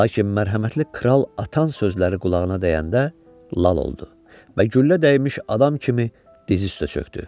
Lakin mərhəmətli kral atanın sözləri qulağına dəyəndə lal oldu və güllə dəymiş adam kimi diz üstə çöndü.